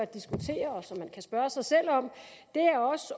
diskutere og som man kan spørge sig selv om er